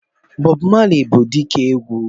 Bob Marley bụ dike egwu.